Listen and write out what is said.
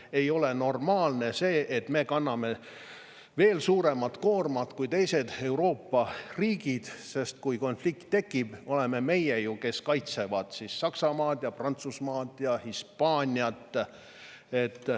Ei ole normaalne see, et me kanname veel suuremat koormat kui teised Euroopa riigid, sest kui konflikt tekib, oleme meie ju need, kes kaitsevad Saksamaad ja Prantsusmaad ja Hispaaniat.